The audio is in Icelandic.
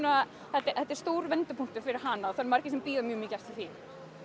þetta er stór vendipunktur fyrir hana margir bíða mjög mikið eftir því